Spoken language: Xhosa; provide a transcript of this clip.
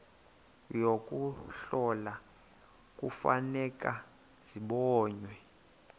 yokuhlola kufuneka zibonwe